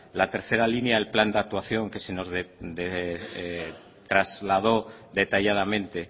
la tercera línea el plan de actuación que se nos trasladó detalladamente